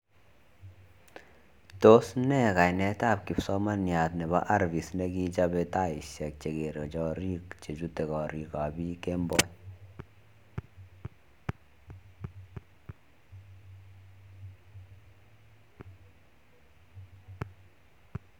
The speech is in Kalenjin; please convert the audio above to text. Tos nee kainet ab kipsomaniat nepo arvist nekichope taishek chekeree chorik che chute karik ab piik kemboi